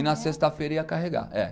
E na sexta-feira ia carregar. é